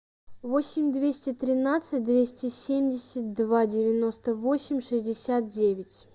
восемь двести тринадцать двести семьдесят два девяносто восемь шестьдесят девять